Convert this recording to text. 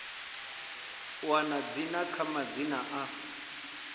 wana dzina kana madzina a